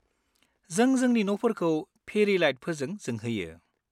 जों जोंनि न'फोरखौ फेरि लाइटफोरजों जोंहोयो।